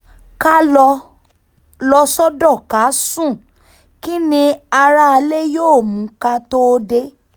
ká lọ lọ sọ́dọ̀ ká sún kín ní aráalé yóò mú ká tóó dé